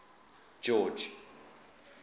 george